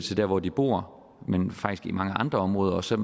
til dér hvor de bor men faktisk i mange andre områder også